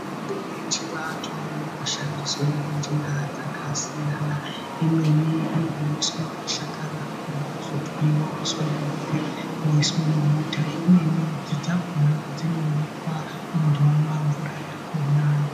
mitombo yechivantu inoshandiswa ngenjira dzakasiyana, imweni inomwiswe mashakani akona ozotwiwa oiswe muduri voiswa mubota, imweni midzi dzakona dzinonyikwa munhu onwa mvura yakona.